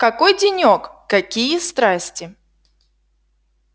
какой денёк какие страсти